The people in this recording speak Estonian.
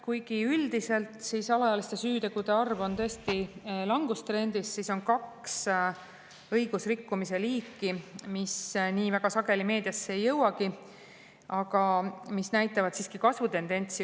Kuigi üldiselt on alaealiste süütegude arv tõesti langustrendis, siis on kaks õigusrikkumise liiki, mis väga sageli meediasse ei jõuagi, aga mis näitavad siiski kasvutendentsi.